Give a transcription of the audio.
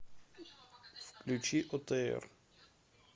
включи отр